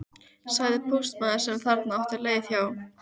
sagði póstmaður sem þarna átti leið hjá.